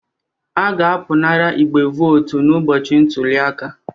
A ga-apụnara igbe votu n'ụbọchị ntuli aka